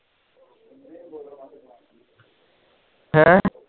ਹੈਂ